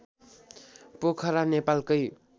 पोखरा नेपालकै